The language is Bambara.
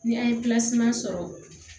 Ni an ye sɔrɔ